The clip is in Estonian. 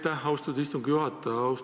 Aitäh, austatud istungi juhataja!